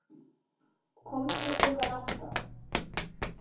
Komdu klukkan átta.